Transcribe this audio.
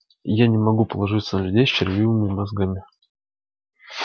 я не могу положиться на людей с червивыми мозгами